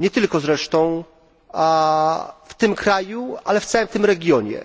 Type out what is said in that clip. nie tylko zresztą w tym kraju, ale w całym tym regionie.